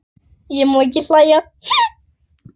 Ég má ekki hlæja.